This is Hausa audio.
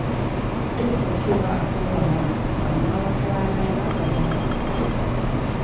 Duk da cewa akwai wahala, amma wata rana za ka dara.